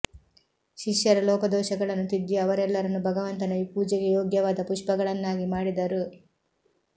ಶಿಷ್ಯರ ಲೋಪದೋಷಗಳನ್ನು ತಿದ್ದಿ ಅವರೆಲ್ಲರನ್ನೂ ಭಗವಂತನ ಪೂಜೆಗೆ ಯೋಗ್ಯವಾದ ಪುಷ್ಪಗಳನ್ನಾಗಿ ಮಾಡಿದರು